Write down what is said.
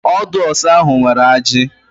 Ọdụ ọsá ahụ nwere ajị.